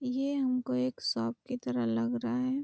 ये हमको एक शॉप की तरह लग रहा है ।